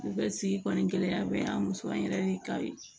Bɛɛ sigi kɔni gɛlɛya bɛ an muso an yɛrɛ ni ka ye